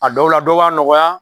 A dɔw la dɔw b'a nɔgɔya.